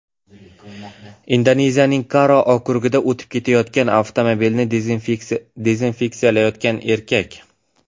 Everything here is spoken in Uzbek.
Indoneziyaning Karo okrugida o‘tib ketayotgan avtomobilni dezinfeksiyalayotgan erkak.